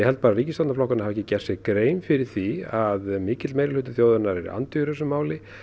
held að ríkisstjórnarflokkarnir hafi ekki gert sér grein fyrir því að mikill meirihluti þjóðarinnar er andvígur þessu máli